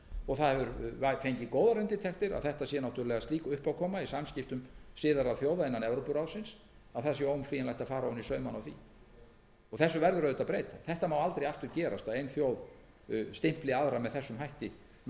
og það hefur fengið góðar undirtektir að þetta sé náttúrlega slík uppákoma í samskiptum siðaðra þjóða innan evrópuráðsins að það sé óumflýjanlegt að fara ofan í saumana á því þessu verður auðvitað að breyta það má aldrei aftur gerast að ein þjóð stimpli aðra með þessum hætti með því